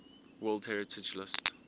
world heritage list